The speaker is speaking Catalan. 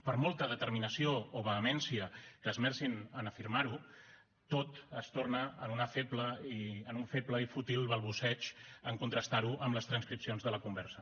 per molta determinació o vehemència que esmercin a afirmar ho tot es torna un feble i fútil balbuceig en contrastar ho amb les transcripcions de la conversa